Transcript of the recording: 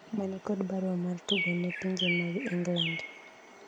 mani kod barua mar tugone pinje mag Ingland